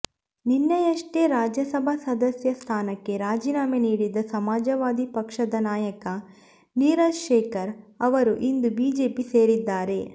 ನಿನ್ನೆಯಷ್ಟೇ ರಾಜ್ಯಸಭಾ ಸದಸ್ಯ ಸ್ಥಾನಕ್ಕೆ ರಾಜೀನಾಮೆ ನೀಡಿದ್ದ ಸಮಾಜವಾದಿ ಪಕ್ಷದ ನಾಯಕ ನೀರಜ್ ಶೇಖರ್ ಅವರು ಇಂದು ಬಿಜೆಪಿ ಸೇರಿದ್ದಾರೆ